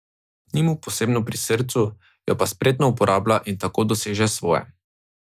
Ni mu posebno pri srcu, jo pa spretno uporablja in tako doseže svoje.